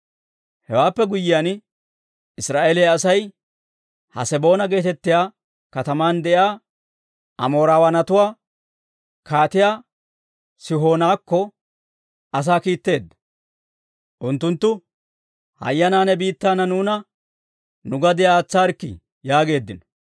«Hewaappe guyyiyaan, Israa'eeliyaa Asay Haaseboona geetettiyaa kataman de'iyaa Amoorawaanatuwaa Kaatiyaa Sihoonakko asaa kiittiide unttunttu, ‹Hayyanaa, ne biittaanna nuuna nu gadiyaa aatsaarikkii› yaageeddino.